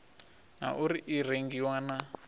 na uri i rengiwa na